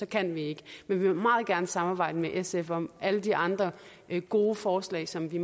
kan vi ikke men vi vil meget gerne samarbejde med sf om alle de andre gode forslag som vi